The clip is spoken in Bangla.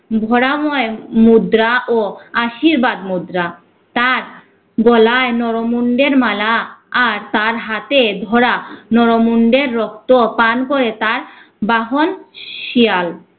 ধরা ময় মুদ্রা ও আশীর্বাদ মুদ্রা। তার গলায় নরমুন্ডের মালা আর তার হাতে ধরা নরমুন্ডের রক্ত পান করে তার বাহন শিয়াল।